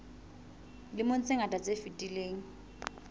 dilemong tse ngata tse fetileng